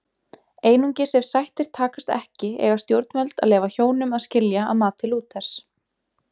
Einungis ef sættir takast ekki eiga stjórnvöld að leyfa hjónum að skilja að mati Lúthers.